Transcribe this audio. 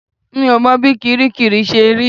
Mi ò mọ bí kiríkirì ṣe rí